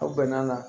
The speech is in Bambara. Aw bɛn'a la